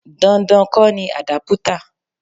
Dandan kọ́ ni àdápútà.